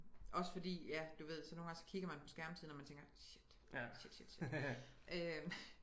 Også fordi ja du ved så nogle gange så kigger man på skærmtiden og man tænker shit shit shit shit